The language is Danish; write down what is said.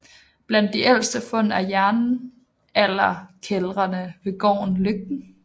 Blandt de ældste fund er jernalderkældrene ved gården Løgten